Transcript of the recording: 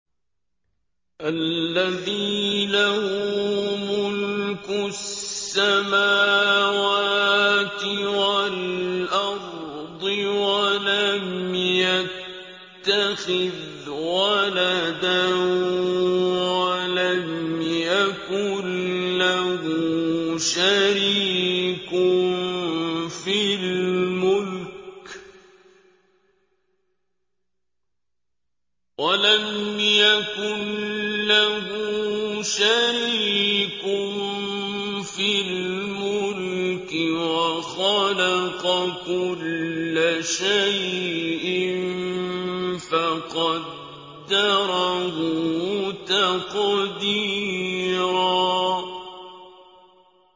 الَّذِي لَهُ مُلْكُ السَّمَاوَاتِ وَالْأَرْضِ وَلَمْ يَتَّخِذْ وَلَدًا وَلَمْ يَكُن لَّهُ شَرِيكٌ فِي الْمُلْكِ وَخَلَقَ كُلَّ شَيْءٍ فَقَدَّرَهُ تَقْدِيرًا